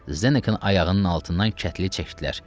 Zdenekin ayağının altından kətli çəkdilər.